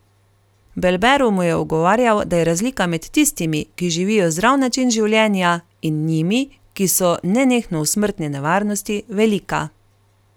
Belberov mu je ugovarjal, da je razlika med tistimi, ki živijo zdrav način življenja, in njimi, ki so nenehno v smrtni nevarnosti, velika.